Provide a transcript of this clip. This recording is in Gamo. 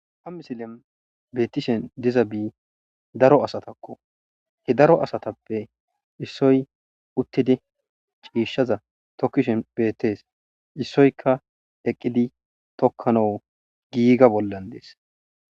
Ha misilen beettishen diza daro asatakko he daro asatappe issoy uttidi ciishaza tokkishe bettees issoyka eqqili tokkanawu giiga bollan dees